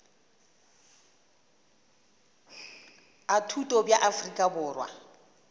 a thuto bja afrika borwa